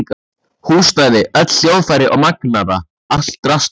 Húsnæði, öll hljóðfæri og magnara, allt draslið.